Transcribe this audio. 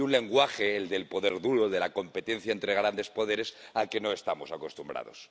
Y un lenguaje, el del poder duro, el de la competencia entre grandes poderes, al que no estamos acostumbrados.